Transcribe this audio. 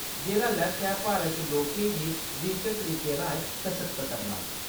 जेह्दा लक्ष्य ऐ भारत च लोकें गी डिजिटिल तरीकें राएं सशक्त करना।